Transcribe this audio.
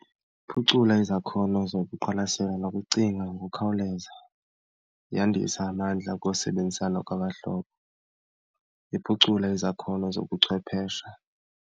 Iphucula izakhono zokuqwalasela nokucinga ngokukhawuleza, yandisa amandla okusebenzisana kwabahlobo, iphucula izakhono zobuchwephesha.